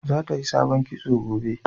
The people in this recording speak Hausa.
za ta yi sabon kitso gobe